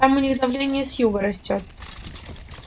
там у них давление с юга растёт